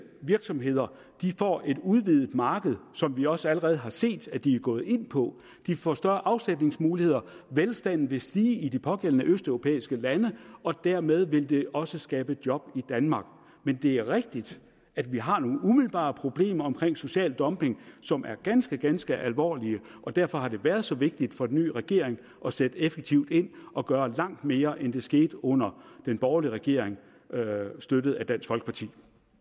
virksomheder får et udvidet marked som vi også allerede har set de er gået ind på de får større afsætningsmuligheder velstanden vil stige i de pågældende østeuropæiske lande og dermed vil det også skabe job i danmark men det er rigtigt at vi har nogle umiddelbare problemer med social dumping som er ganske ganske alvorlige og derfor har det været så vigtigt for den nye regering at sætte effektivt ind og gøre langt mere end det skete under den borgerlige regering støttet af dansk folkeparti